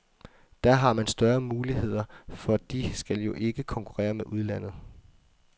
Der har man større muligheder, for de skal jo ikke konkurrere med udlandet.